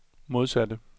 modsatte